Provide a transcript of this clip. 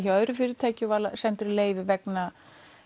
hjá öðru fyrirtæki og var settur í leyfi vegna